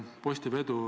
Lõpetan selle käsitlemise.